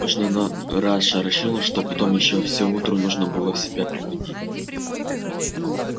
так мощно иной раз шарашило что потом ещё все утро нужно было в себя приходить